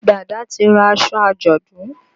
Dàda ti ra aṣọ àjọ̀dún.